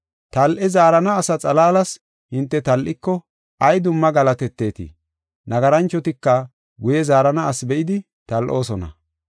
Tal7e zaarana asa xalaalas hinte tal7iko ay dumma galatetetii? Nagaranchotika guye zaarana asi be7idi tal7oosona.”